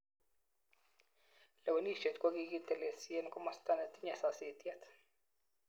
Lewenishet ko kikitelesin en komostan netinye sasitiet.